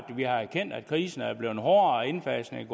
har erkendt at krisen er blevet hårdere og at indfasningen